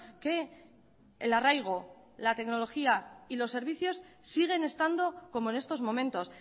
que el arraigo la tecnología y los servicios siguen estando como en estos momentos